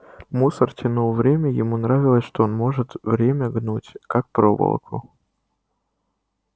мусор тянул время ему нравилось что он может время гнуть как проволоку